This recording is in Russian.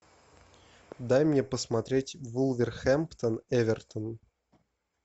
дай мне посмотреть вулверхэмптон эвертон